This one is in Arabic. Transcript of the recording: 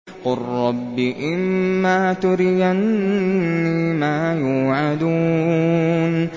قُل رَّبِّ إِمَّا تُرِيَنِّي مَا يُوعَدُونَ